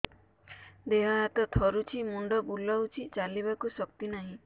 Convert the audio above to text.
ଦେହ ହାତ ଥରୁଛି ମୁଣ୍ଡ ବୁଲଉଛି ଚାଲିବାକୁ ଶକ୍ତି ନାହିଁ